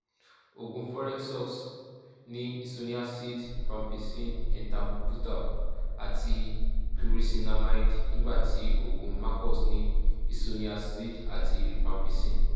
oògùn forecox ní isoniazid rifampicin ethambutal àti pyrizinamide nígbà tí oògùn macox ní isoniazid àti rifampicin